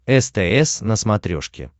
стс на смотрешке